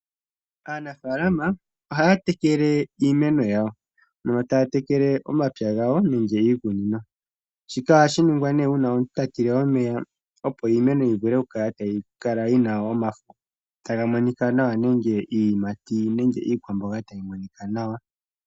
Aanafaalama ohaya tekele iimeno yawo yo taya tekele omapya gawo nenge iikunino. Shika ohashi ningwa nee uuna omuntu ta tile omeya, opo iimeno yivule oku kala tayi kala yina omafo taga monika nawa, nenge iiyimati nenge iikwamboga tayi monika nawa.